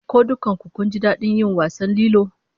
Ko dukkan ku kun ji dadin yin wasan lilo?